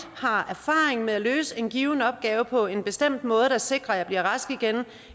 har erfaring med at løse en given opgave på en bestemt måde der sikrer at man bliver rask igen